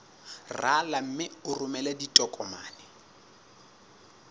rala mme o romele ditokomene